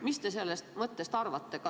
Mis te sellest mõttest arvate?